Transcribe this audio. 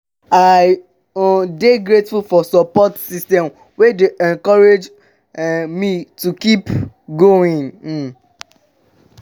i um dey grateful for support systems wey dey encourage um me to keep going. um